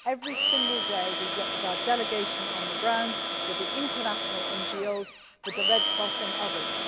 Every day we work with our delegation on the ground, with the international NGOs and with the Red Cross and others.